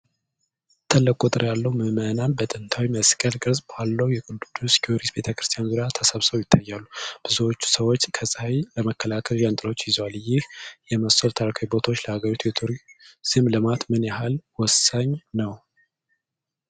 ትልቅ ቁጥር ያለው ምእመናን በጥንታዊ መስቀል ቅርጽ ባለው የቅዱስ ጊዮርጊስ ቤተ-ክርስቲያን ዙሪያ ተሰብስበው ይታያሉ። ብዙዎቹ ሰዎች ከፀሐይ ለመከላከል ጃንጥላዎች ይዘዋል። ይህ የመሰሉ ታሪካዊ ቦታዎች ለሀገሪቱ የቱሪዝም ልማት ምን ያህል ወሳኝ ናቸው?